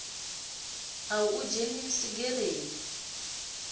ḽa u ḓi dzhenisa gereni